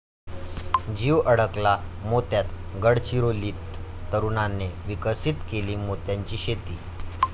जीव अडकला मोत्यात, गडचिरोलीत तरुणाने विकसित केली मोत्यांची शेती!